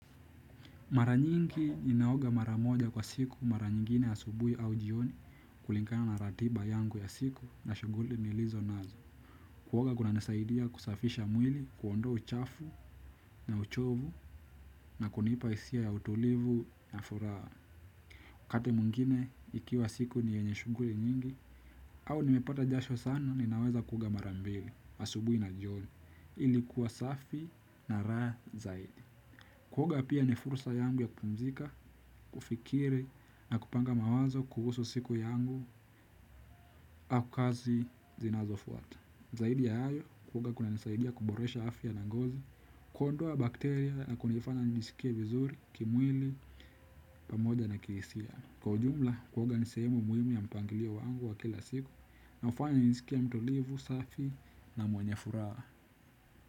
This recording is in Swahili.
Mara nyingi ninaoga mara moja kwa siku mara nyingine asubuhi au jioni kulingana na ratiba yangu ya siku na shughuli nilizo nazo. Kuoga kunanisaidia kusafisha mwili kuondoa uchafu na uchovu na kunipa hisia ya utulivu na furaha wakati mwingine ikiwa siku ni yenye shughuli nyingi au nimepata jasho sana ninaweza kuoga mara mbili asubuhi na jioni ilikuwa safi na raha zaidi. Kuoga pia ni fursa yangu ya kupumzika, kufikiri na kupanga mawazo kuhusu siku yangu au kazi zinazofuata. Zaidi ya hayo, kuoga kunanisaidia kuboresha afya na ngozi, kuondoa bakteria na kunifanya njisikie vizuri, kimwili, pamoja na kihisia. Kwa ujumla, kuoga ni sehemu muhimu ya mpangilio wangu wa kila siku na hufanya njisikie mtulivu, safi na mwenye furaha.